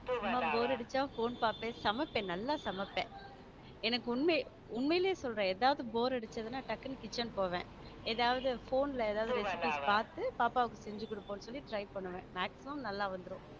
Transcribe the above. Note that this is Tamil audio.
சும்மா bore அடிச்சா phone பார்ப்பேன் சமைப்பேன் நல்லா சமைப்பேன் எனக்கு உண்மையிலேயே உண்மையிலேயே சொல்லுறேன் ஏதாவது bore அடிச்சா டக்குனு kitchen போவேன் எதாவது phone ல ஏதாவது recipe பார்த்து பாப்பாக்கு செஞ்சு கொடுப்போம் சரி try பண்ணுவேன் maximum நல்லா வந்துடும்.